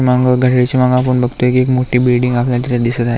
माग घड्याळाच्या माग एक मोठी बिल्डिंग आपल्याला तिथ दिसत आहे.